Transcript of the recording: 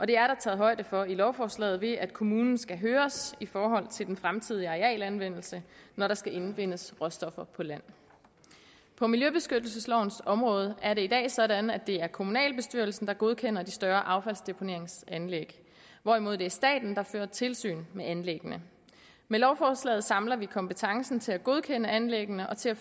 det er taget højde for i lovforslaget ved at kommunen skal høres i forhold til den fremtidige arealanvendelse når der skal indvindes råstoffer på land på miljøbeskyttelseslovens område er det i dag sådan at det er kommunalbestyrelsen der godkender de større affaldsdeponeringsanlæg hvorimod det er staten der fører tilsyn med anlæggene med lovforslaget samler vi kompetencen til at godkende anlæggene og til at